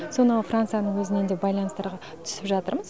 сонау францияның өзімен де байланыстарға түсіп жатырмыз